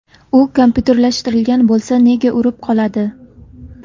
U kompyuterlashtirilgan bo‘lsa... Nega urib qoladi?